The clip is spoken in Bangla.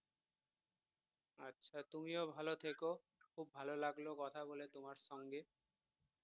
আচ্ছা তুমিও ভাল থেকো খুব ভাল লাগলো কথা বলে তোমার সঙ্গে